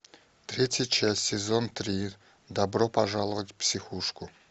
третья часть сезон три добро пожаловать в психушку